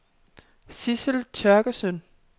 Sidsel Thøgersen